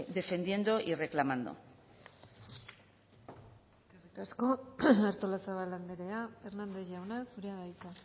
defendiendo y reclamando eskerrik asko artolazabal andrea hernández jauna zurea da hitza